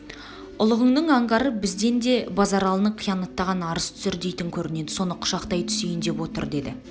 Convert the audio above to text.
ұлығыңның аңғары бізден де базаралыны иянаттаған арыз түсір дейтін көрнеді соны құшақтай түсейін деп отыр деді